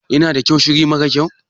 Yana da kyau shiri mara kyau.